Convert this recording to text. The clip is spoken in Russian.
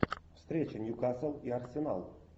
встреча ньюкасл и арсенал